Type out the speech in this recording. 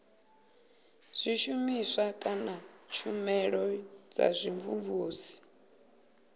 zwishumiswa kana tshumelo dza vhumvumvusi